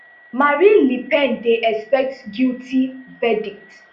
marine le pen dey expect guilty verdict